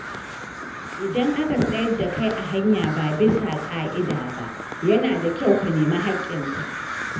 Idan aka tsayar da kai a hanya ba bisa ƙa’ida ba, yana da kyau ka nemi haƙƙin ka.